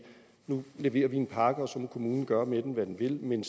nu leverer vi en pakke og så må kommunen gøre med den hvad den vil men